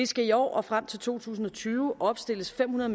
skal i år og frem til to tusind og tyve opstilles fem hundrede